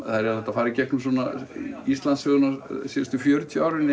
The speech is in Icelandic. það er hægt að fara í gegnum Íslandssögu síðustu fjörutíu ára